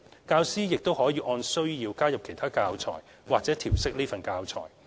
教師亦可按需要加入其他教材或調適此份教材。